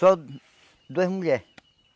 Só duas mulheres.